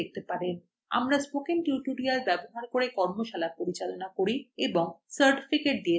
আমরা spoken টিউটোরিয়ালগুলি ব্যবহার করে কর্মশালা পরিচালনা করি এবং certificates দিয়ে থাকি আমাদের সাথে যোগাযোগ করুন